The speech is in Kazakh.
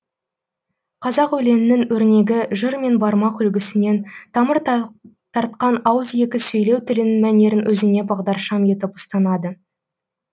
қазақ өлеңінің өрнегі жыр мен бармақ үлгісінен тамыр тартқан ауызекі сөйлеу тілінің мәнерін өзіне бағдаршам етіп ұстанады